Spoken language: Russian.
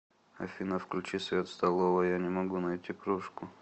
афина включи свет в столовой я не могу найти кружку